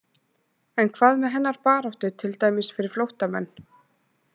En hvað með hennar baráttu til dæmis fyrir flóttamenn?